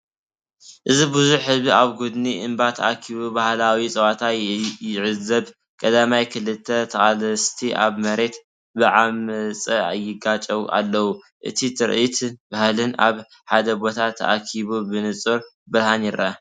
እዚ ብዙሕ ህዝቢ ኣብ ጐድኒ እምባ ተኣኪቡ ባህላዊ ጸወታ ይዕዘብ፤ ቀዳማይ፡ ክልተ ተቓለስቲ ኣብ መሬት ብዓመጽ ይጋጨዉ ኣለው። እቲ ትርኢትን ባህልን ኣብ ሓደ ቦታ ተኣኪቡ ብንጹር ብርሃን ይረአ።